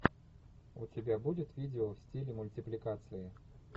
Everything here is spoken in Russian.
у тебя будет видео в стиле мультипликации